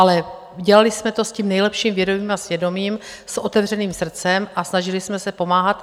Ale dělali jsme to s tím nejlepší vědomím a svědomím, s otevřeným srdcem a snažili jsme se pomáhat.